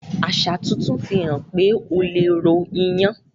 aṣa tuntun fihàn pé ọ lẹ ro iyán